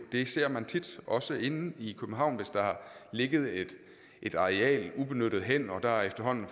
det ser man tit også inde i københavn hvis der har ligget et et areal ubenyttet hen og der efterhånden